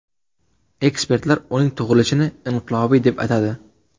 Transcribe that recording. Ekspertlar uning tug‘ilishini inqilobiy deb atadi.